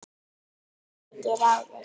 Í mikið ráðist